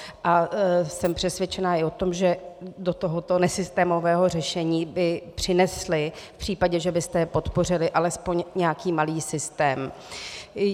A jsem přesvědčena i o tom, že do tohoto nesystémového řešení by přinesly v případě, že byste je podpořili, alespoň nějaký malý systém.